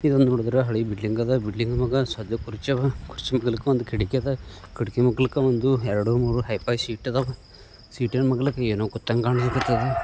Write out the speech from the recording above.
ಇದುನಾ ನೋಡಿದರೆ ಹಳೆ ಬಿಲ್ಡಿಂಗ್ ಆದ ಬಿಲ್ಡಿಂಗ್ ಮ್ಯಾಗ ಹಳೆ ಕುರ್ಚಿ ಆವಾ ಕುರ್ಚಿ ಮೇಲಕ್ಕ ಒಂದು ಕಿಟಕಿ ಆದ ಕಿಟಕಿ ಮಾಗಲಿಕ್ಕಾ ಒಂದು ಎರೆಡು ಮೂರು ಶೀಟ್ ಇದ್ದವಾ ಶೀಟ್ನಾ ಮಗ್ಗಲಾಗ ಏನೂ ಕುತ್ತಂಗೆ ಕಾಣಲಿಕ್ಕೆ ಆತದ